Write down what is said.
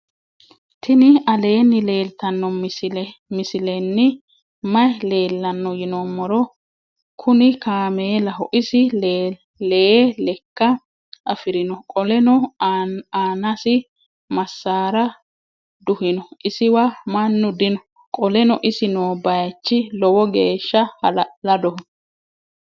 tini aleni leltano misileni maayi leelano yinnumoro. kunikamelaho. isi lee leeka afirino. qoleno annasi masara duhino. isiwa manu dino. qoleno isi noo bayichi loowo gesha ha'la'ladoho.